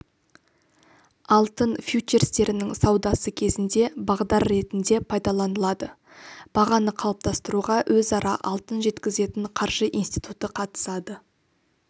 алтын фьючерстерінің саудасы кезінде бағдар ретінде пайдаланылады бағаны қалыптастыруға өзара алтын жеткізетін қаржы институты қатысады